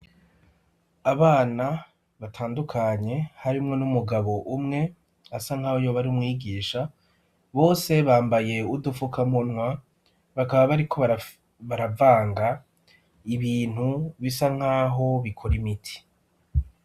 Abana batandukanye harimwo n'umugabo umwe asa nk'aho yoba ari umwigisha bose bambaye udufukamunwa bakaba bariko baravanga ibintu bisa nk'aho bikora imiti.